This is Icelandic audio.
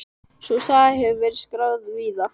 Sú saga hefur verið skráð víða.